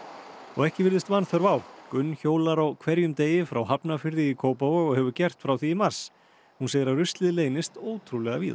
ekki virðist vanþörf á gunn hjólar á hverjum degi frá Hafnarfirði í Kópavog og hefur gert frá því í mars hún segir að ruslið leynist ótrúlega víða